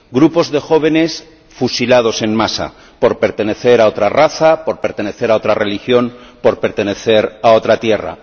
Grupos de jóvenes fusilados en masa por pertenecer a otra raza, por pertenecer a otra religión, por pertenecer a otra tierra.